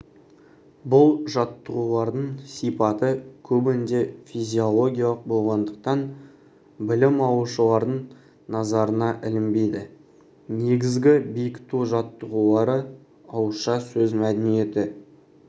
бұл жаттығулардың сипаты көбінде физиологиялық болғандықтан білім алушылардың назарына ілінбейді негізгі бекіту жаттығулары ауызша сөз мәдениеті